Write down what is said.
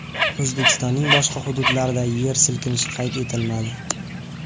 O‘zbekistonning boshqa hududlarida yer silkinishi qayd etilmadi.